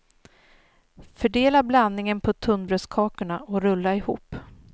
Fördela blandningen på tunnbrödskakorna och rulla ihop.